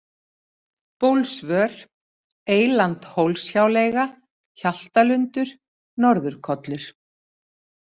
Bólsvör, Eyland-Hólshjáleiga, Hjaltalundur, Norður-Kollur